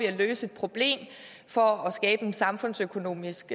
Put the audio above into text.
at løse et problem for at skabe en samfundsøkonomisk